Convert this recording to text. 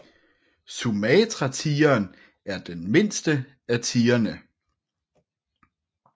Sumatratigeren er den mindste af tigrene